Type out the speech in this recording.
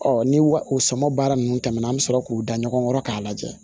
ni wa o sɔmɔ baara ninnu tɛmɛna an bɛ sɔrɔ k'u da ɲɔgɔn kɔrɔ k'a lajɛ